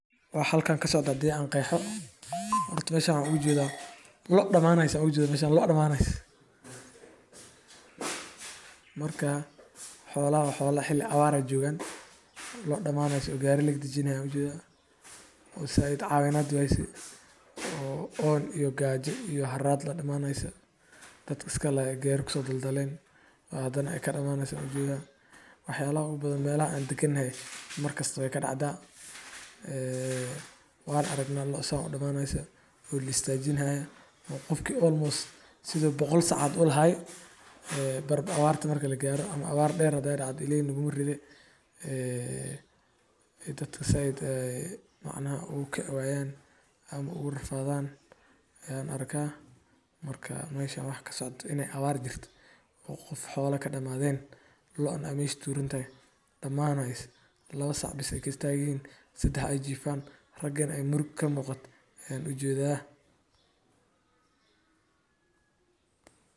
Waxa halkan ka socdo hadan qexo, loc damaneso loc damaneso aayan u jedaa Abaartu waa masiibo dabiici ah oo dhacda marka roob la’aan iyo kuleyl daran ay saameeyaan deegaan muddo dheer. Abaartu waxay keentaa biyo la’aan, dhul engeg, beero iyo daaq sinaba u baxayn, taas oo si toos ah u saameysa nolosha dadka iyo xoolaha. Si abaaraha loo dajiyo ama loo damiyo, waxaa muhiim ah in la sameeyo tallaabooyin.